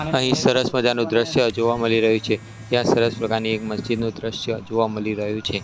અહીં સરસ મજાનું દ્રશ્ય જોવા મળી રહ્યું છે ત્યાં સરસ પ્રકારની એક મસ્જિદ નું દ્રશ્ય જોવા મલી રહ્યું છે.